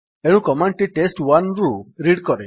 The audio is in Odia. ଏଣୁ କମାଣ୍ଡ୍ ଟି test1ରୁ ରିଡ୍ କରେ